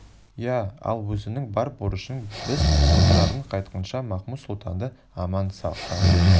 иә ал өзіңнің бар борышың біз отырардан қайтқанша махмуд-сұлтанды аман сақтау